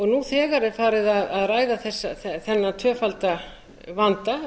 nú þegar er farið að ræða þennan tvöfalda vanda